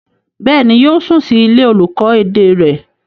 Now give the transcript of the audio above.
Bẹ́ẹ̀ni, yóò sùn sí ilé olùkọ́ èdè rẹ̀.